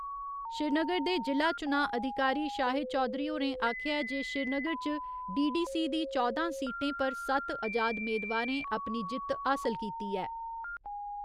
श्रीनगर दे जि'ला चुनां अधिकारी शाहिद चौधरी होरें आखेआ जे श्रीनगर च डी.डी. सी. दी चौदां सीटें पर सत्त अजाद मेदवारें अपनी जित्त हासल कीती ऐ।